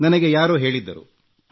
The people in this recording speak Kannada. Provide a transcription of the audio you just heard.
ನನಗೆ ಯಾರೋ ಹೇಳಿದ್ದರು